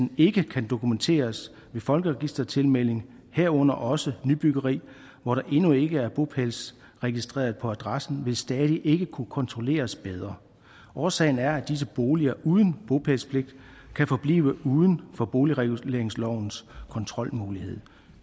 ikke kan dokumenteres ved folkeregistertilmelding herunder også i nybyggeri hvor der endnu ikke er bopælsregistreret på adressen stadig ikke vil kunne kontrolleres bedre årsagen er at disse boliger uden bopælspligt kan forblive uden for boligreguleringslovens kontrolmulighed